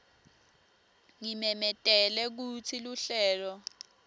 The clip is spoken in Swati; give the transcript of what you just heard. ngimemetele kutsi luhlelo